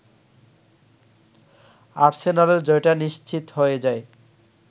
আর্সেনালের জয়টা নিশ্চিত হয়ে যায়